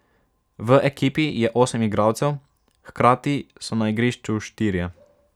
V ekipi je osem igralcev, hkrati so na igrišču štirje.